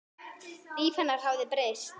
Líf hennar hafði breyst.